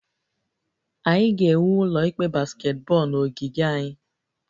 Anyị ga-ewu ụlọ ikpe basketball na ogige anyị